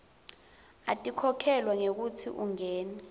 atikhokhelwa ngekutsi ungene